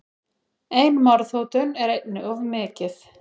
Ein morðhótun er einni of mikið.